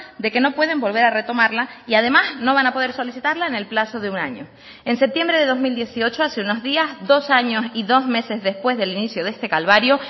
de que no pueden volver a retomarla y además no van a poder solicitarla en el plazo de un año en septiembre de dos mil dieciocho hace unos días dos años y dos meses después del inicio de este calvario